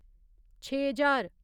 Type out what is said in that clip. छे ज्हार